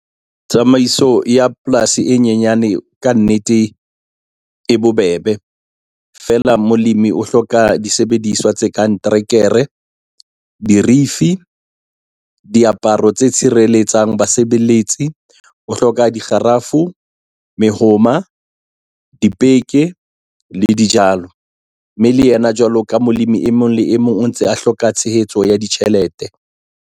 Tsamaiso ya polasi e nyenyane kannete e bobebe. Feela molemi o hloka disebediswa tse kang terekere, dirifi, diaparo tse tshireletsang basebeletsi, o hloka dikgarafu, mehoma, dipeke le dijalo. Mme le yena jwalo ka molemi, e mong le e mong o ntse a hloka tshehetso ya ditjhelete.